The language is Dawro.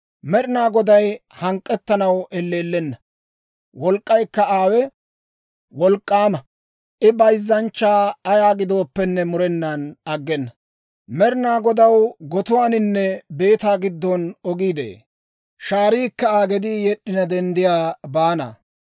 Med'inaa Goday hank'k'ettanaw elleellenna; wolk'k'aykka aawe wolk'k'aama; I bayzzanchchaa ayaa gidooppenne, murenaan aggena. Med'inaa Godaw gotuwaaninne beetaa giddon ogii de'ee; shaariikka Aa gedii yed'd'ina denddiyaa baana.